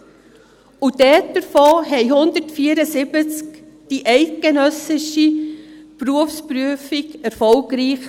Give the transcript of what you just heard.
Davon bestanden 174 die eidgenössische Berufsprüfung erfolgreich.